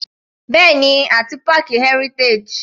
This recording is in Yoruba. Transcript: Bẹ́ẹ̀ni àti páàkì Heritage.